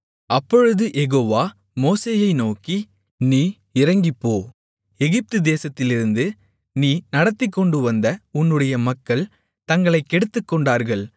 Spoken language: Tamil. அப்பொழுது யெகோவா மோசேயை நோக்கி நீ இறங்கிப்போ எகிப்துதேசத்திலிருந்து நீ நடத்திக்கொண்டுவந்த உன்னுடைய மக்கள் தங்களைக் கெடுத்துக்கொண்டார்கள்